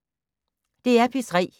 DR P3